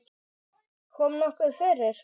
Kom nokkuð fyrir?